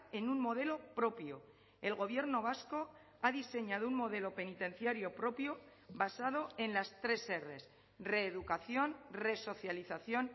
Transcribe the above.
en un modelo propio el gobierno vasco ha diseñado un modelo penitenciario propio basado en las tres erres reeducación resocialización